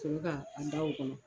ka a da o kɔnɔ.